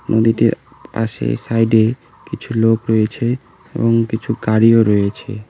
নদীটির পাশে সাইড -এ কিছু লোক রয়েছে এবং কিছু গাড়িও রয়েছে।